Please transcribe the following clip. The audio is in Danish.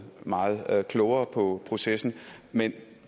meget klogere på processen men